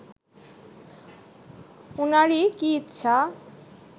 উনারই কি ইচ্ছা